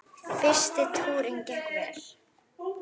Fyrsti túrinn gekk vel.